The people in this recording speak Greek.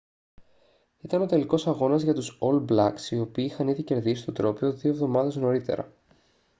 ήταν ο τελικός αγώνας για τους ολ μπλακς οι οποίοι είχαν ήδη κερδίσει το τρόπαιο δύο εβδομάδες νωρίτερα